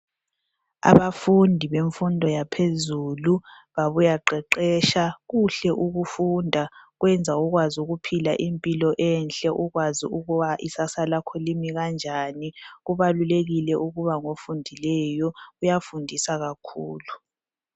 Abafundi bemfundo yaphezulu babuya qeqesha. Kuhle ukufunda. Kwenza ukwazi ukuphila impilo enhle. Ukwazi ukuba ikusasa lakho limi kanjani. Kubalulekile ukuba ngofundileyo, kuyafundisa kakhulu.